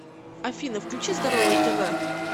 афина включи здоровое тв